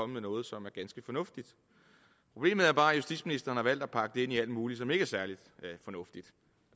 med noget som er ganske fornuftigt problemet er bare at justitsministeren har valgt at pakke det ind i alt muligt som ikke er særlig fornuftigt